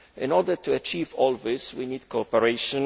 In order to achieve all this, we need cooperation.